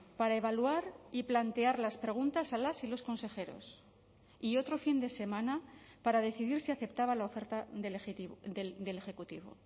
para evaluar y plantear las preguntas a las y los consejeros y otro fin de semana para decidir si aceptaba la oferta del ejecutivo